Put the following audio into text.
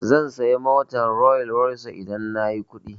Zan saya motar Rolls-Royce idan nayi kuɗi.